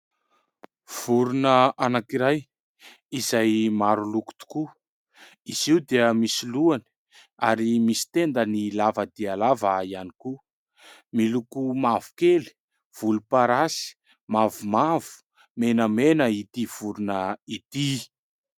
Vorona anankiray izay maro loko tokoa izy io dia misy lohany ary misy tendany lava dia lava ihany koa miloko mavokely, volomparasy, mavomavo, menamena ity vorona ity.